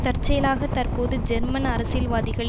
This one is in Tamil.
தற்செயலாக தற்போது ஜெர்மன் அரசியல்வாதிகள்